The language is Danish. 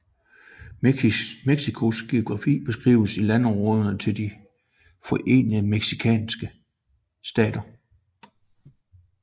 Mexicos geografi beskriver landområderne til de forenede mexicanske stater